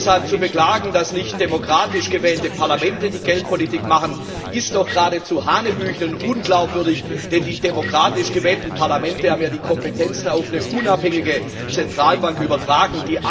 Deshalb zu beklagen, dass nicht demokratisch gewählte Parlamente die Geldpolitik machen, ist doch geradezu hanebüchen und unglaubwürdig, denn die demokratisch gewählten Parlamente haben ja die Kompetenzen auf eine unabhängige Zentralbank übertragen.